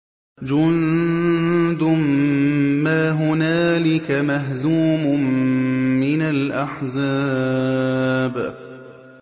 جُندٌ مَّا هُنَالِكَ مَهْزُومٌ مِّنَ الْأَحْزَابِ